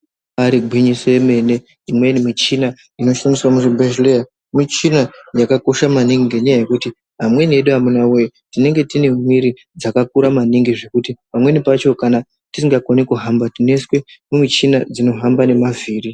Ibari gwinyiso yemene imweni muchina inoshandiswa muzvibhehlera ,muchina yakakosha maningi ngenyaya yekuti amweni edu amunawe tinenge tine mwiri dzakakura maningi zvekuti pamweni pacho kana tisingakoni kuhamba tinoiswa mumuchina dzinohamba ngemavhiri.